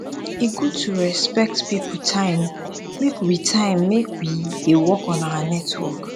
e good to respect pipo time make we time make we dey work on our network